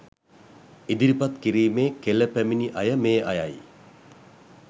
ඉදිරිපත් කිරීමේ කෙළ පැමිණි අය මේ අයයි.